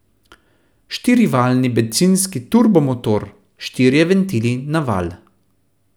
Štirivaljni bencinski turbomotor, štirje ventili na valj.